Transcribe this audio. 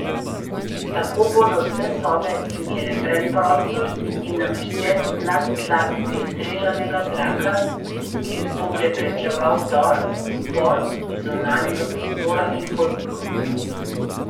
Tako bodo vse sobe imele predprostor in nameščen nadtlak filtriranega zraka, ki bo preprečeval vdor spor iz zunanjega prostora ali hodnikov.